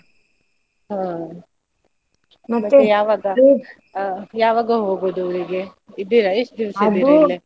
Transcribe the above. ಹಾ ಯಾವಾಗ ಹೋಗುದು ಊರಿಗೆ? ಇದ್ದೀರಾ ಎಷ್ಟ್ ದಿವ್ಸ ?